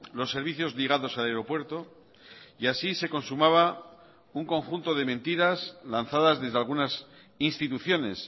los servicios ligados al aeropuerto y así se consumaba un conjunto de mentiras lanzadas desde algunas instituciones